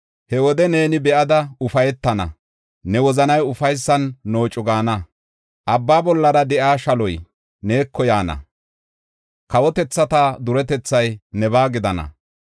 He wode neeni be7ada ufaytana; ne wozanay ufaysan noocu gaana. Abbaa bolla de7iya shaloy neeko yaana; kawotethata duretethay nebaa gidana.